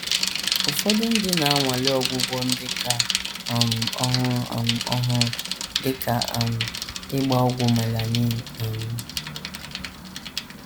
Ụfọdụ ndị na - anwale ọgwụgwọ ndị ka um ọhụrụ um ọhụrụ, dị ka um ịgba ọgwụ melanin. um